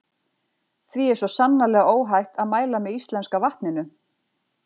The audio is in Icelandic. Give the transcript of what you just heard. Því er svo sannarlega óhætt að mæla með íslenska vatninu.